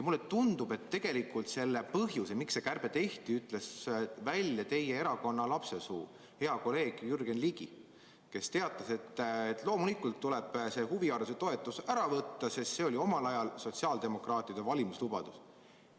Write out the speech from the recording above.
Mulle tundub, et tegeliku põhjuse, miks see kärbe tehti, ütles välja teie erakonna lapsesuu, hea kolleeg Jürgen Ligi, kes teatas, et loomulikult tuleb huvihariduse toetus ära võtta, sest see oli omal ajal sotsiaaldemokraatide valimislubadus.